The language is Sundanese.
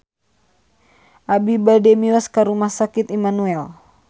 Abi bade mios ka Rumah Sakit Immanuel